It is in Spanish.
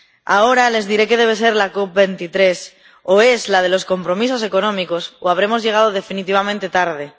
Ahora les diré qué debe ser la COP23 o es la de los compromisos económicos, o habremos llegado definitivamente tarde.